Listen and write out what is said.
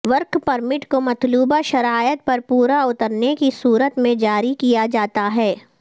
work permit کو مطلوبہ شرائط پر پورا اترنے کی صورت میں جاری کیا جاتا ہے